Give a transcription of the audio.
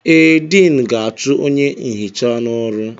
Ee, Diinu ga-achụ onye nhicha n'ọrụ.